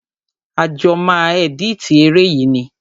A jọ máa ẹ̀dítì eré yìí ni.